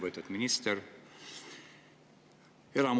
Lugupeetud minister!